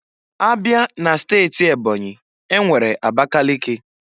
Abịa n'steti Ebonyi, enwere Abakaliki.